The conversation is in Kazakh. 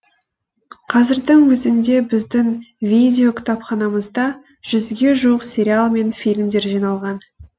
қазірдің өзінде біздің видеокітапханамызда жүзге жуық сериал мен фильмдер жиналған